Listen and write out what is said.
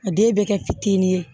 A den bɛ kɛ fitinin ye